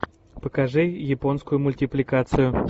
покажи японскую мультипликацию